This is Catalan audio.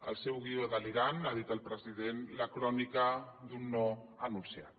el seu guió delirant ha dit el president la crònica d’un no anun ciat